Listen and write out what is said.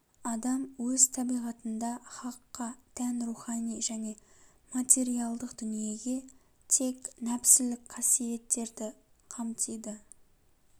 адам өз табиғатында хакқа тән рухани және материалдық дүниеге тән нәпсілік қасиеттерді қамтиды